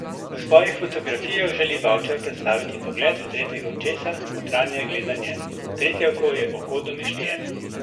V svojih fotografijah želi Bavčar predstaviti pogled tretjega očesa, notranje gledanje: "Tretje oko je oko domišljije.